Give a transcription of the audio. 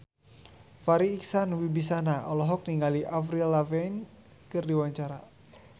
Farri Icksan Wibisana olohok ningali Avril Lavigne keur diwawancara